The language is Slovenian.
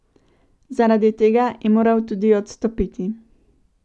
Zaradi tega je moral tudi odstopiti.